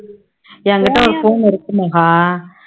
எங்கிட்ட ஒரு phone உ இருக்கு மகா